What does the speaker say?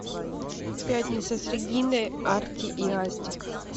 пятница с региной артик и асти